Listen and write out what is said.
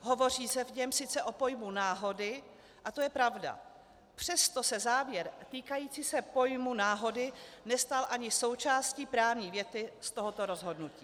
Hovoří se v něm sice o pojmu náhody, a to je pravda, přesto se závěr týkající se pojmu náhody nestal ani součástí právní věty z tohoto rozhodnutí.